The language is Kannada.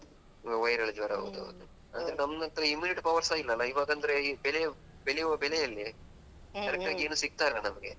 ಹಾ viral ಜ್ವರ ಹೌದು ಹೌದು, ನಮ್ಮತ್ರ immunity power ಸಾ ಇಲ್ಲಲಾ ಈ ಇವಾಗಂದ್ರೆ ಬೆಳೆ ಬೆಳೆಯುವ ಬೆಳೆಯಲ್ಲಿ correct ಆಗೇನು ಸಿಕ್ತಾಯಿಲ್ಲ ನಮ್ಗೆ